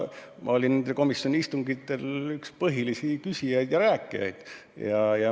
Ma olin komisjoni istungitel üks põhilisi küsijaid ja rääkijaid.